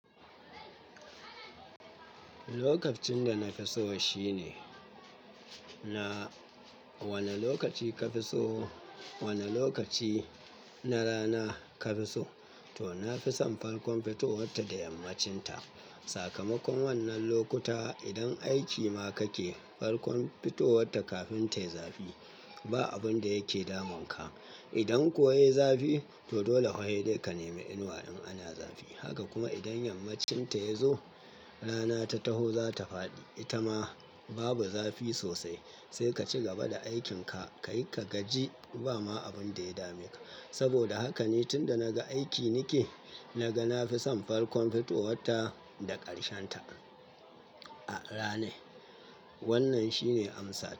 Lokacin da na fi so shi ne, na wani lokaci ka fi so, wani lokaci na rana ka fi so, to na fi son farkon fitowar ta da yammacin ta. Sakamakon wannan lokuta, idan aiki ma ka ke, farkon fitowar ta kafin ta yi zafi ba abun da yake damun ka. Idan kuwa ya yi zafi, to dole hedai ka nemi inuwa in ana zafi. Haka kuma idan yammacin ta ya zo, rana ta taho za ta faɗi, ita ma babu zafi sosai. Sai ka ci gaba da aikin ka, ka yi ka gaji ba ma abun da ya dame ka. Saboda haka ni tun da naga aiki ni ke, naga na fi son farkon fitowar ta da ƙarshen ta a rana. Wannan shi ne amsa.